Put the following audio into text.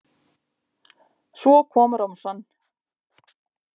Svo kom romsan.